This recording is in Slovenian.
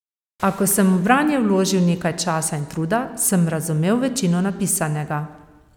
A ko sem v branje vložil nekaj časa in truda, sem razumel večino napisanega.